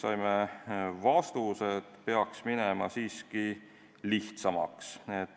Saime vastuse, et peaks minema siiski lihtsamaks.